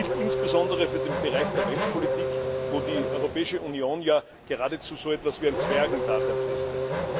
Dies gilt insbesondere für den Bereich der Weltpolitik, wo die Europäische Union ja geradezu ein Zwergendasein fristet.